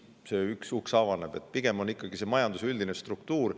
Pigem majanduse üldine struktuur.